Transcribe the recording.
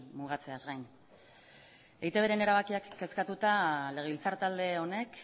mugatzeaz gain eitbren erabakiak kezkatuta legebiltzar talde honek